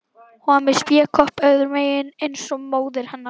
Hún var með spékopp öðrum megin eins og móðir hennar.